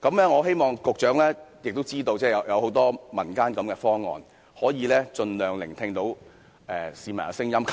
我希望局長知道民間也有很多這種方案，希望他盡量聆聽市民的聲音。